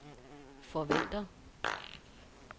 forventer